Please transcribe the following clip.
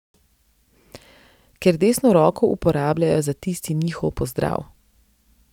Ker desno roko uporabljajo za tisti njihov pozdrav.